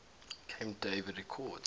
camp david accords